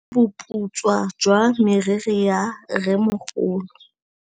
Ke bone boputswa jwa meriri ya rrêmogolo.